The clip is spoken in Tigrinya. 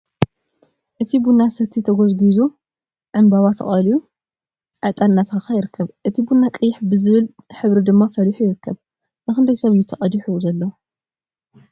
እቲ ቡና ሰቲ ተጎዚጊዙ፣ ዕንበባ ተቀልዮ ፣ዕጣንን እናተከከ ይርከብ ።እቲ ቡና ቀይሕ በዝበለ ሕብሪ ድማ ፈሊሑ ይርከብ ።ንክንደይ ሰብ እዩ ተቀዲሑ ዘሎ?